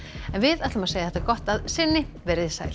en við segjum þetta gott að sinni veriði sæl